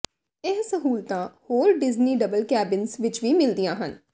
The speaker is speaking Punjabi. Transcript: ਇਹ ਸਹੂਲਤਾਂ ਹੋਰ ਡਿਜਨੀ ਡਬਲ ਕੈਬਿਨਜ਼ ਵਿੱਚ ਵੀ ਮਿਲਦੀਆਂ ਹਨ